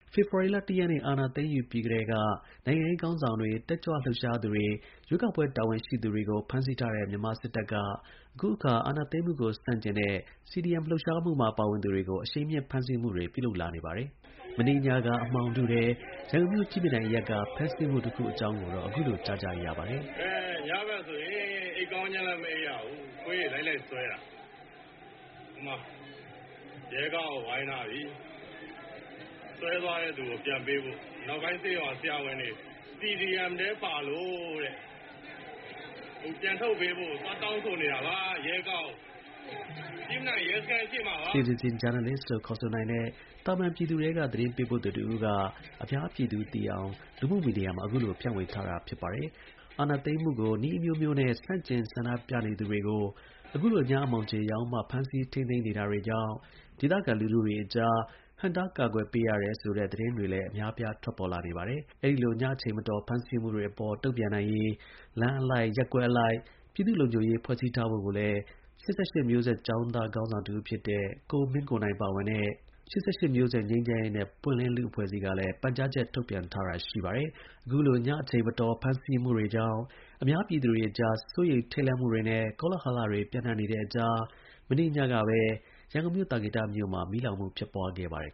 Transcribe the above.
ဖေဖော်ဝါလ ၁ ရက်နေ့ အာဏာသိမ်းယူပြီးကတည်းက နိုင်ငံရေး ခေါင်းဆောင်တွေ၊ တက်ကြွလှုပ်ရှားသူတွေ၊ ရွေးကောက်ပွဲ တာဝန် ရှိသူတွေကို ဖမ်းဆီးထားတဲ့ မြန်မာစစ်တပ်က အခုအခါ အာဏာသိမ်းမှုကို ဆန့်ကျင်တဲ့ Civil Disobedience Movement - CDM လို့ ခေါ်တဲ့ အနုနည်းနဲ့ အာဏာဖီဆန်ရေး လှုပ်ရှားမှုမှာ ပါဝင်သူတွေကို အရှိန်မြှင့် ဖမ်းဆီးမှုတွေ ပြုလုပ်လာနေပါတယ်။ မနေ့ညက အမှောင်ထုထဲ ရန်ကုန်မြို့ ကြည့်မြင်တိုင်အရပ်က ဖမ်းဆီးမှုတစ်ခုအကြောင်းကိုတော့ အခုလို ကြားကြရပါတယ်။ “အင်း ညဘက်ဆိုရင် အိပ်ကောင်းခြင်းလည်း မအိပ်ရဘူး၊ ခွေးတွေ လိုက်လိုက်ဆွဲနေတာ။ ဟိုမှာ ရဲကားကို ဝိုင်းထားပြီ။ ဆွဲသွားတဲ့သူကို ပြန်ပေးဖို့ အနောက်ပိုင်းဆေးရုံက ဆရာဝန်တွေ။ CDM ထဲ ပါလို့တဲ့။ အခု ပြန်ထုတ်ပေးဖို့ကို သွားတောင်းဆိုနေတာပါ။ ရဲကားကို။ ကြည့်မြင်တိုင် ရဲစခန်းရှေ့မှာပါ။” Citizen journalist လို့ခေါ်တဲ့ သာမန်ပြည်သူထဲက သတင်းပေးပို့သူတစ်ဦးက အများပြည်သူသိအောင် လူမှုမီဒီယာမှာ အခုလို ဖြန့်ဝေထားတာပါ။ အခုလို ညမှောင်ခြေရောက်မှ အာဏာသိမ်းမှုကို နည်းအမျိုးမျိုးနဲ့ ဆန့်ကျင် ဆန္ဒပြနေသူတွေကို ဖမ်းဆီးနေတာကြောင့် ဒေသခံ လူထု က ဟန့်တား ကာကွယ်ပေးခဲ့ရတယ်ဆိုတဲ့ သတင်းတွေလည်း အများအပြား ထွက်ပေါ်နေတာပါ။ အဲဒီလို ညအချိန်မတော် ဖမ်းဆီးမှုတွေအပေါ် တုံ့ပြန်နိုင်ရေး လမ်းအလိုက်၊ ရပ်ကွက်အလိုက် ပြည်သူ့ လုံခြုံရေး ဖွဲ့စည်းထားဖို့ကို ၈၈ မျိုးဆက်ကျောင်းသား ခေါင်းဆောင် တစ်ဦးဖြစ်တဲ့ ကိုမင်းကိုနိုင်ပါဝင်တဲ့ ၈၈မျိုးဆက်ငြိမ်းချမ်း ရေးနဲ့ ပွင့်လင်းလူ့အဖွဲ့အစည်းကလည်း ပန်ကြားချက်ထုတ်ပြန်ထားတာလည်း ရှိပါတယ်။ အခုလို ည အချိန်မတော်ဖမ်းဆီးမှုတွေကြောင့် အများပြည်သူအကြား စိုးရိမ်ထိတ်လန့်မှုတွေနဲ့ ကောလဟလတွေ ပျံ့နှံ့နေတဲ့ အကြား မနေ့ကညကပဲ ရန်ကုန်မြို့၊ သာကေတ မြို့နယ်မှာ မီးလောင်မှု ဖြစ်ပွားခဲ့ပါတယ်